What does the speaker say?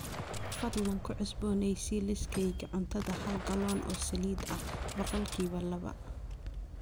fadlan ku cusboonaysii liiskayga cuntada hal gallon oo saliid ah boqolkiiba laba